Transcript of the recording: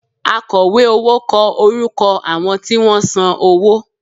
Akọ̀wé owó kọ orúkọ àwọn tí wọ́n san owó